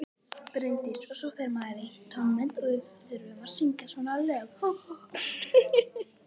Bryndís: Og svo fer maður í tónmennt og við þurfum að syngja svona lög.